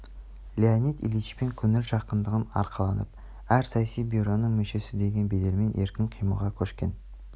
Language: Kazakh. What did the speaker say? леонид ильичпен көңіл жақындығын арқаланып әр саяси бюроның мүшесі деген беделмен еркін қимылға көшкен